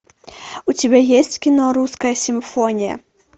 у тебя есть кино русская симфония